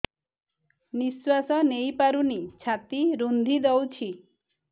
ନିଶ୍ୱାସ ନେଇପାରୁନି ଛାତି ରୁନ୍ଧି ଦଉଛି